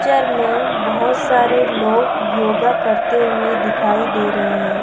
Picture में बहोत सारे लोग योगा करते हुए दिखाई दे रहें हैं।